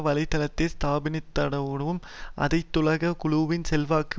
வலை தளத்தை ஸ்தாபித்ததனூடாகவும் அனைத்துலக குழுவின் செல்வாக்கு